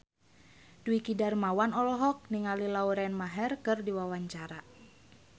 Dwiki Darmawan olohok ningali Lauren Maher keur diwawancara